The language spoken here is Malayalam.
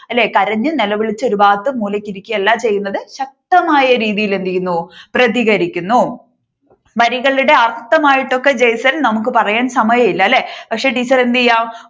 അല്ലെ കരഞ്ഞു നിലവിളിച്ചു ഒരുഭാഗത്ത് മൂലയ്ക്ക് ഇരിക്കുകയല്ല ചെയ്യുന്നത് ശക്തമായ രീതിയിൽ എന്ത് ചെയ്യുന്നു പ്രതികരിക്കുന്നു വരികളുടെ അർത്ഥമായിട്ടൊക്കെ ജെയ്സൺ നമ്മുക്ക് പറയാൻ സമയം ഇല്ല അല്ലെ പക്ഷെ ടീച്ചർ എന്തു ചെയ്യാം